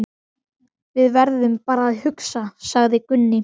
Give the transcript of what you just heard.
Við verðum bara að hugsa, sagði Gunni.